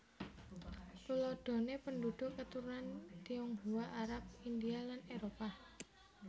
Tuladhané penduduk keturunan Tionghoa Arab India lan Éropah